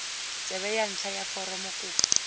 tsebe ya ntlha ya foromokopo